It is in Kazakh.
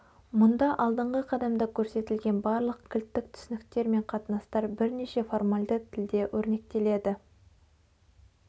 мұнда алдыңғы қадамда көрсетілген барлық кілттік түсініктер мен қатынастар бірнеше формальді тілде өрнектеледі